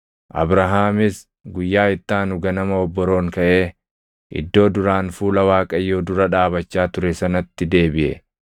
Abrahaamis guyyaa itti aanu ganama obboroon kaʼee iddoo duraan fuula Waaqayyoo dura dhaabachaa ture sanatti deebiʼe.